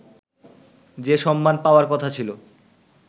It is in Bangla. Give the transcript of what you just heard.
যে সম্মান পাওয়ার কথা ছিল